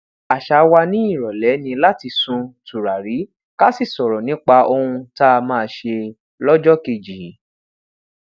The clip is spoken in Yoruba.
àṣà wa ni ìròlé ni lati sun tùràrí ká sì sọrọ nípa ohun tá máa ṣe lójokeji